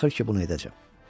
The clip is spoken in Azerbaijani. Axır ki, bunu edəcəm.